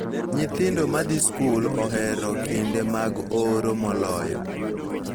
Nyithindo ma dhi skul ohero kinde mag oro moloyo